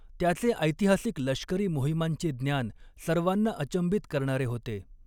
त्याचे ऐतिहासिक लष्करी मोहिमांचे ज्ञान सर्वांना अचंबित करणारे होते.